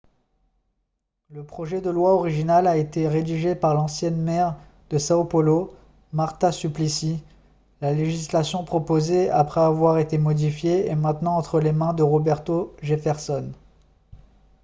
le projet de loi original a été rédigé par l'ancienne maire de são paulo marta suplicy. la législation proposée après avoir été modifiée est maintenant entre les mains de roberto jefferson